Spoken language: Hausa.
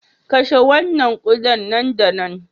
Kashe wannan kuda nan da nan